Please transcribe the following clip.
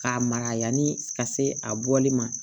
K'a mara yani ka se a bɔli ma